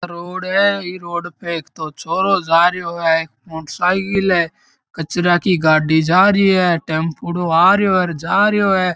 रोड है इ रोड पे तो छोरो जारियो है मोटर साइकिल है कचरा की गाड़ी जारिए टेम्पोंड़ो आरियो और जारियो है।